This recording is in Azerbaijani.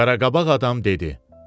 Qaraqabaq adam dedi.